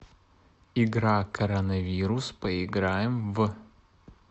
игра коронавирус поиграем в